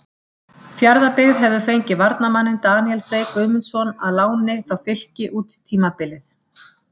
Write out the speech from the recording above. Fjarðabyggð hefur fengið varnarmanninn Daníel Frey Guðmundsson á láni frá Fylki út tímabilið.